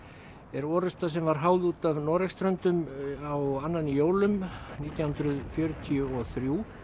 er orrusta sem var háð út af Noregsströndum á annan í jólum nítján hundruð fjörutíu og þrjú